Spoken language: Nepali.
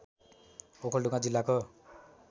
ओखलढुङ्गा जिल्लाको